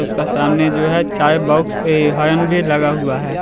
उसके सामने जो है चार बॉक्स अई हॉर्न भी लगा हुआ है।